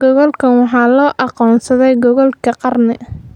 Goolkaan waxaa loo aqoonsaday "goolkii qarni."